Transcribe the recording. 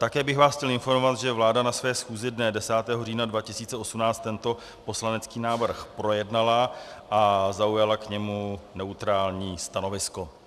Také bych vás chtěl informovat, že vláda na své schůzi dne 10. října 2018 tento poslanecký návrh projednala a zaujala k němu neutrální stanovisko.